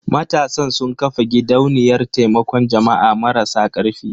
Matasan sun ƙafa gidauniyar taimakon jama'a marasa karfi.